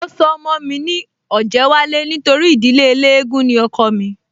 Mo sọ ọmọ mi ní Ọ̀jẹ́wálé nítorí ìdílé eléégún ni ọkọọ̀ mí